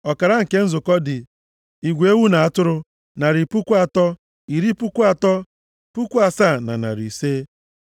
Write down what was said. Ọkara nke nzukọ dị, igwe ewu na atụrụ, narị puku atọ, iri puku atọ, puku asaa na narị ise (337,500),